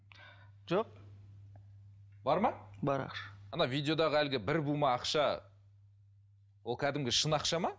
жоқ бар ма бар ақша ана видеодағы әлгі бір бума ақша ол кәдімгі шын ақша ма